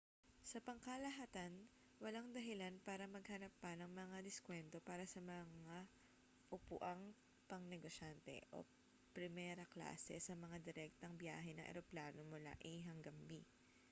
sa pangkalahatan walang dahilan para maghanap pa ng mga diskwento para sa mga upuang pangnegosyante o primera-klase sa mga direktang biyahe ng eroplano mula a hanggang b